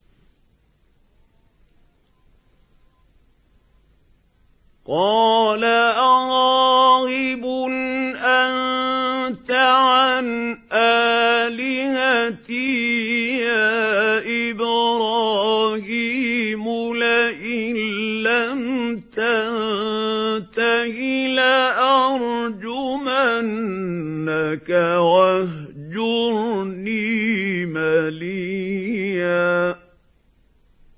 قَالَ أَرَاغِبٌ أَنتَ عَنْ آلِهَتِي يَا إِبْرَاهِيمُ ۖ لَئِن لَّمْ تَنتَهِ لَأَرْجُمَنَّكَ ۖ وَاهْجُرْنِي مَلِيًّا